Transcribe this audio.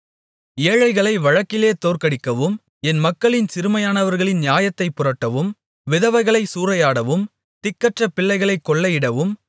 ஏழைகளை வழக்கிலே தோற்கடிக்கவும் என் மக்களில் சிறுமையானவர்களின் நியாயத்தைப் புரட்டவும் விதவைகளைச் சூறையாடவும் திக்கற்ற பிள்ளைகளைக் கொள்ளையிடவும்